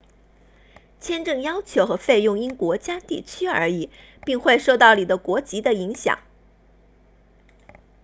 签证要求和费用因国家地区而异并会受到你的国籍的影响